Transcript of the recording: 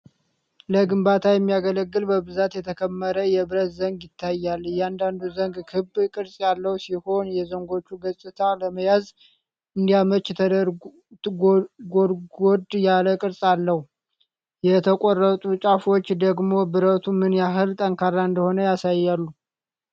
ለግንባታ የሚያገለግል በብዛት የተከመረ የብረት ዘንግ ይታያል። እያንዳንዱ ዘንግ ክብ ቅርጽ ያለው ሲሆን፣ የዘንጎቹ ገጽታ ለመያዝ እንዲያመች ጎድጎድ ያለ ቅርጽ አለው። የተቆረጡት ጫፎች ደግሞ ብረቱ ምን ያህል ጠንካራ እንደሆነ ያሳያሉ።